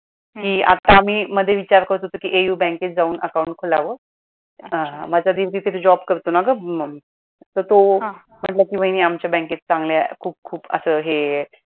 कि आत्ता आम्ही मधे विचार करत होतो कि AU बँकेत जाऊन account खोलावं माझा दीर तिथे job करतो ना ग म्हणून तर तो कि वाहिनी आमच्या बँकेत चांगल्या खूप खूप अस हे आहे